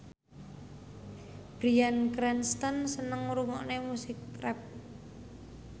Bryan Cranston seneng ngrungokne musik rap